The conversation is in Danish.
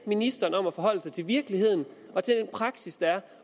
ministeren om at forholde sig til virkeligheden og til den praksis der er